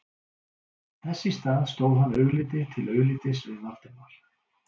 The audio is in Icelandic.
Þess í stað stóð hann augliti til auglitis við Valdimar